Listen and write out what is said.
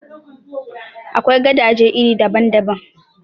Akwai gadaje iri daban daban.